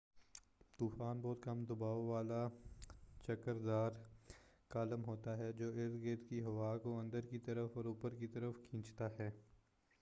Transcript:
طوفان بہت کم دباؤ والا چکردار کالم ہوتا ہے جو ارد گرد کی ہوا کو اندر کی طرف اور اوپر کی طرف کھینچتا ہے